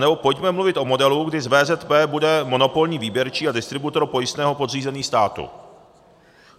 Anebo pojďme mluvit o modelu, kdy z VZP bude monopolní výběrčí a distributor pojistného podřízený státu.